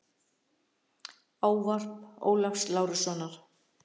Ávarp Ólafs Lárussonar.